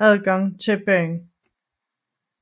adgang til byen